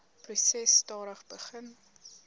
proses stadig begin